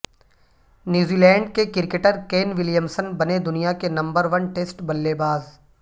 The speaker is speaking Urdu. نیوزی لینڈ کے کرکٹر کین ولیمسن بنے دنیا کے نمبر ون ٹیسٹ بلے باز